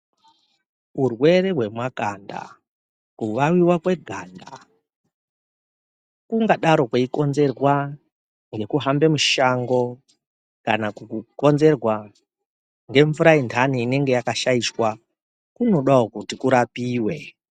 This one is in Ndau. Urwere hwemakanda, kuvaviva kweganda kungadaro kweikonzerwa ngekuhambe mushango. Kana kukonzerwa ngemvura yendai inenge yakashaishwa kunodavo kuti kurapive.